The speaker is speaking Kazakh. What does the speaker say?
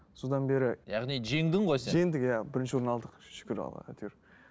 содан бері яғни жеңдің ғой сен иә жеңдік иә бірінші орын алдық шүкір аллаға әйтеуір